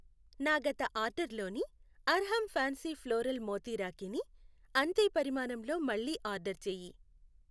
నా గత ఆర్డరులోని అర్హమ్ ఫ్యాన్సీ ఫ్లోరల్ మోతీ రాఖీ ని అంతే పరిమాణంలో మళ్ళీ ఆర్డర్ చేయి.